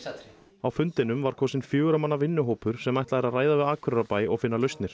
á fundinum var kosinn fjögurra manna vinnuhópur sem ætlað er að ræða við Akureyrarbæ og finna lausnir